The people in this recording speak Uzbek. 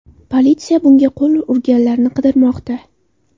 Politsiya bunga qo‘l urganlarni qidirmoqda.